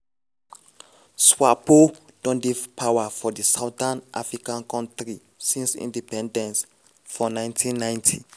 swapo don dey power for di southern african kontri since independence for 1990.